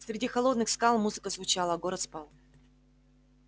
среди холодных скал музыка звучала а город спал